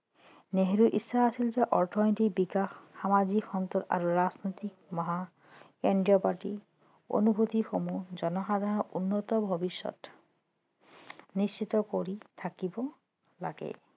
নেহেৰুৰ ইচ্ছা আছিল যে অৰ্থনৈতিক বিকাশ সামাজিক সন্তুলন অনুভূতিসমূহ জনসাধাৰণৰ উন্নত ভৱিষ্যত নিশ্চিত কৰি থাকিব লাগে